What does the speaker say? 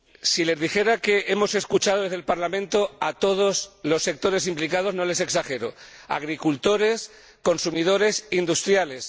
Si les dijera que hemos escuchado desde el Parlamento a todos los sectores implicados, no estaría exagerando agricultores, consumidores, industriales.